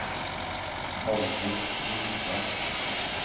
Haldis Grimstad